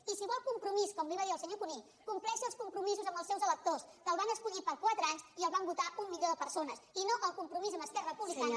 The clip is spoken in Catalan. i si vol compromís com li va dir al senyor cuní compleixi els compromisos amb els seus electors que el van escollir per a quatre anys i el van votar un milió de persones i no el compromís amb esquerra republicana